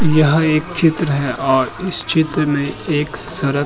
यह एक चित्र है और इस चित्र में एक सड़क --